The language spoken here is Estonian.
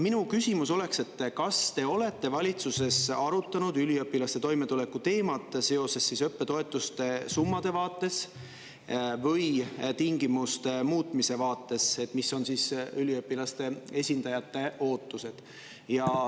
Minu küsimus oleks, et kas te olete valitsuses arutanud üliõpilaste toimetuleku teemat õppetoetuste summade vaates või tingimuste muutmise vaates, mis on üliõpilaste esindajate ootused?